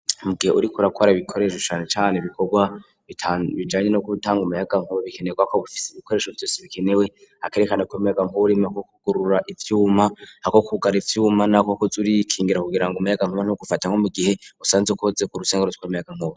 Mbugihe uriko urakwara ibikoresho shane cane bikorwa tanubijanye no kutanga umayagankuba bikenerwa ko gufise ibikoresho vyose bikenewe akerekana kumeyaga nk'uburimu ako kugurura ivyuma ako kugara ivyuma nako kuz uriy ikingira kugira ngo umayagankuma no gufata nko mu gihe usanze ukoze ku rusengaru tw'amayagankuba.